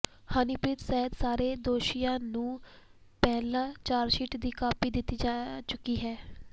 ਹਨੀਪ੍ਰੀਤ ਸਹਿਤ ਸਾਰੇ ਦੋਸ਼ੀਆਂ ਨੂੰ ਪਹਿਲਾਂ ਚਾਰਜਸ਼ੀਟ ਦੀ ਕਾਪੀ ਹੀ ਦਿੱਤੀ ਜਾ ਚੁੱਕੀ ਹੈ